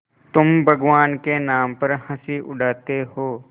तुम भगवान के नाम पर हँसी उड़ाते हो